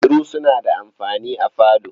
Kujeru suna da amfani a falo.